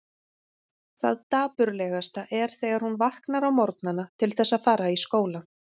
Það dapurlegasta er þegar hún vaknar á morgnana til þess að fara í skólann.